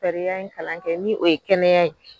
Sariya in kalan kɛ ni o ye kɛnɛya ye.